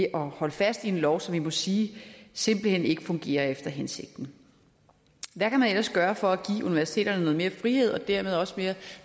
at holde fast i en lov som vi må sige simpelt hen ikke fungerer efter hensigten hvad kan man ellers gøre for at give universiteterne noget mere frihed og dermed også